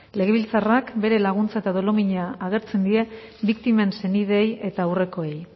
legebiltzarrak bere laguntza eta dolumina agertzen dien biktimen senideei eta aurrekoei